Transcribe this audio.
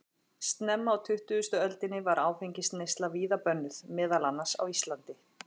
Snemma á tuttugustu öldinni var áfengisneysla víða bönnuð, meðal annars á Íslandi.